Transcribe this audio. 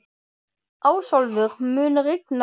Ásólfur, mun rigna í dag?